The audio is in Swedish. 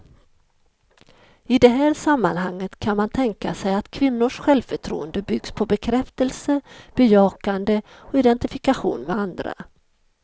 I det här sammanhanget kan man tänka sig att kvinnors självförtroende byggs på bekräftelse, bejakande och identifikation med andra.